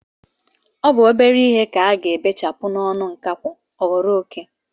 Ọ bụ naanị obere ihe ka a ga-ebechapụ n'ọnụ nkakwụ ọ ghọrọ oké.